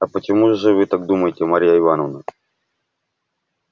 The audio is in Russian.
а почему же вы так думаете марья ивановна